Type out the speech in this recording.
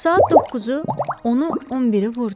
Saat doqquzu, onu, on biri vurdu.